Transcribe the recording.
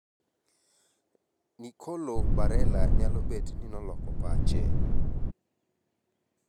nicolo barella nyalo bet ni noloko pache